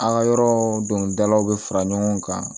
An ka yɔrɔ dɔni dalaw bɛ fara ɲɔgɔn kan